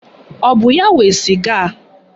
Ọ bụ ya nwe sịga a?